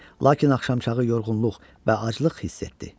Lakin axşamçağı yorğunluq və aclıq hiss etdi.